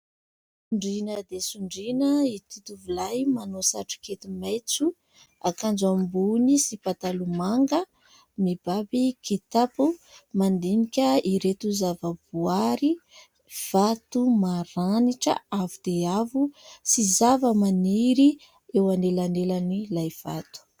Sondriana dia sondriana ity tovolahy : manao satrokety maitso, akanjo ambony sy pataloha manga, mibaby kitapo ; mandinika ireto zavaboary : vato maranitra avo dia avo sy zavamaniry eo anelanelan'ilay vato.